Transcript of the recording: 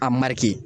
A mari